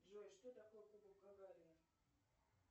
джой что такое кубок гагарина